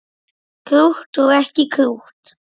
Krútt og ekki krútt.